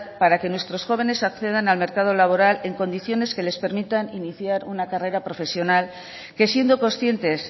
para que nuestros jóvenes accedan al mercado laboral en condiciones que les permitan iniciar una carrera profesional que siendo conscientes